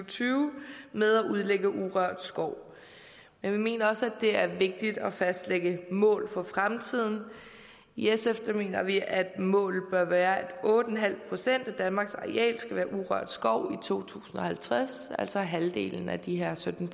tyve med at udlægge til urørt skov men vi mener også det er vigtigt at fastlægge mål for fremtiden i sf mener vi at målet bør være at otte procent af danmark reelt skal være urørt skov i to tusind og halvtreds altså halvdelen af de her sytten